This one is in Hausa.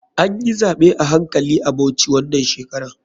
Anyi zaɓe a hankali a bauchi wanan shekarar.